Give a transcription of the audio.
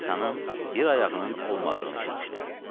Kapitanın bir ayağının olmadığını eşitmişdim.